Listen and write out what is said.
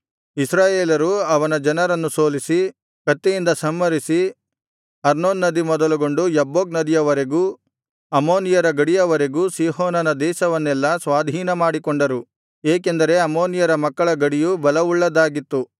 ಇಸ್ರಾಯೇಲರು ಅವನ ಜನರನ್ನು ಸೋಲಿಸಿ ಕತ್ತಿಯಿಂದ ಸಂಹರಿಸಿ ಅರ್ನೋನ್ ನದಿ ಮೊದಲುಗೊಂಡು ಯಬ್ಬೋಕ್ ನದಿಯವರೆಗೂ ಅಮ್ಮೋನಿಯರ ಗಡಿಯವರೆಗೂ ಸೀಹೋನನ ದೇಶವನ್ನೆಲ್ಲಾ ಸ್ವಾಧೀನಮಾಡಿಕೊಂಡರು ಏಕೆಂದರೆ ಅಮ್ಮೋನಿಯರ ಮಕ್ಕಳ ಗಡಿಯು ಬಲವುಳ್ಳದ್ದಾಗಿತ್ತು